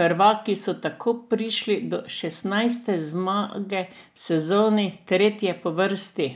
prvaki so tako prišli do šestnajste zmage v sezoni, tretje po vrsti.